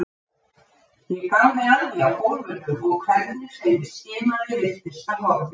Ég gáði að því á gólfinu og hvernig sem ég skimaði virtist það horfið.